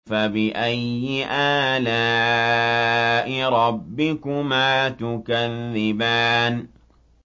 فَبِأَيِّ آلَاءِ رَبِّكُمَا تُكَذِّبَانِ